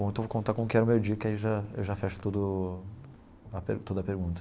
Bom, então vou contar como que era o meu dia, que aí eu já eu já fecho todo a pergun toda a pergunta.